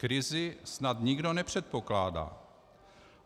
Krizi snad nikdo nepředpokládá.